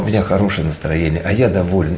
у меня хорошее настроение а я доволен